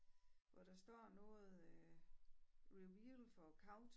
Hvor der står noget øh reveal for couch